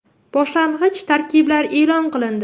Boshlang‘ich tarkiblar e’lon qilindi.